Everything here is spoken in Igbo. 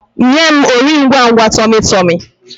Nye m Ori ngwangwa tummy tummy!